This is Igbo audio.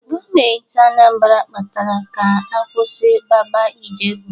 Gọọmentị Anambra kpara ka a kwụsị Baba Ijebu.